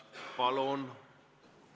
Palun!